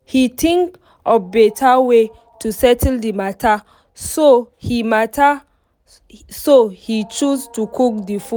he think of better way to settle the matter so he matter so he choose to cook the